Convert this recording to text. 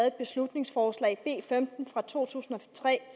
et beslutningsforslag b femten fra to tusind og tre